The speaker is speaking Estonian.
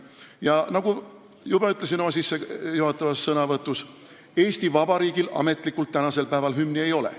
Ja nagu ma juba ütlesin oma sissejuhatavas sõnavõtus, Eesti Vabariigil tänasel päeval ametlikult hümni ei ole.